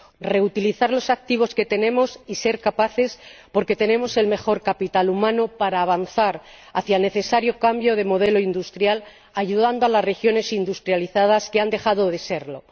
Reutilizar los activos que tenemos y ser capaces ―porque tenemos el mejor capital humano― de avanzar hacia el necesario cambio de modelo industrial, ayudando a las regiones industrializadas que han dejado de serlo.